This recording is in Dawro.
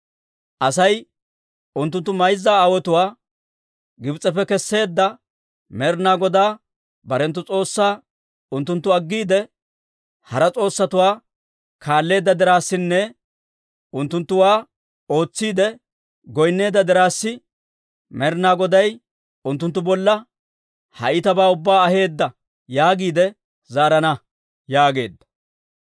Asay, Unttunttu mayza aawotuwaa Gibs'eppe kesseedda Med'inaa Godaa barenttu S'oossaa unttunttu aggiide, hara s'oossatuwaa kaalleedda dirassinne unttunttuwaa ootsiide goynneedda dirassi, Med'inaa Goday unttunttu bolla ha iitabaa ubbaa aheedda yaagiide zaarana» yaageedda.